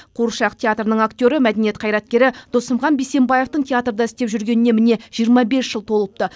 қуыршақ театрының актері мәдениет қайраткері досымхан бейсенбаев театрда істеп жүргеніне міне жиырма бес жыл толыпты